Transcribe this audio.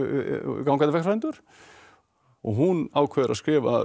gangandi vegfarendur og hún ákveður að skrifa um